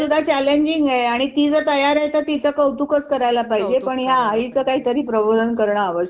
challenging हाय आणि ती जर तयार हाय तर तिचं कौतुक करायला पाहिजे ह्या आईचं काहीतरी प्रबोधन करणं आवश्यक